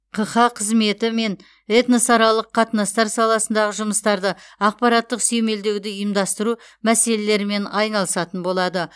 қха қызметі мен этносаралық қатынастар саласындағы жұмыстарды ақпараттық сүйемелдеуді ұйымдастыру мәселелерімен айналысатын болады